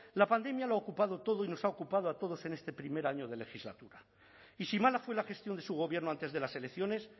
la pandemia lo ha ocupado todo y nos ha ocupado a todos en este primer año de legislatura y si mala fue la gestión de su gobierno antes de las elecciones